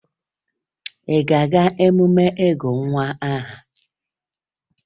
Ị na-aga emume ịgụ nwa aha?